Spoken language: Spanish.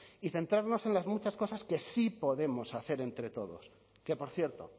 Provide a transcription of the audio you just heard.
y centrarnos en las muchas cosas que sí podemos hacer entre todos que por cierto